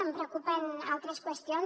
em preocupen altres qüestions